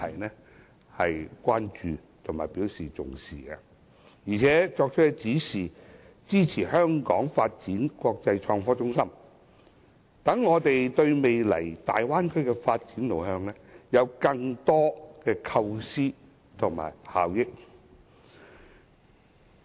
習主席對此表示關注和重視，並作出指示，支持香港發展成為國際創科中心，讓我們對未來大灣區的發展路向提出更多的構思和提升效益。